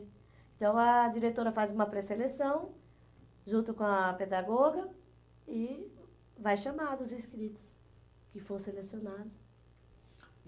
Então, a diretora faz uma pré-seleção junto com a pedagoga e vai chamar os inscritos que foram selecionados.